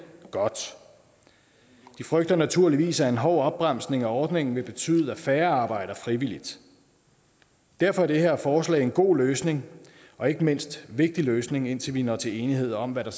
godt de frygter naturligvis at en hård opbremsning af ordningen vil betyde at færre arbejder frivilligt derfor er det her forslag en god løsning og ikke mindst en vigtig løsning indtil vi når til enighed om hvad der